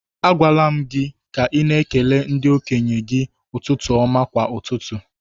A gwaala m gị ka ị na ekele ndi-okenye gi ụtụtụ ọma kwa ụtụtụ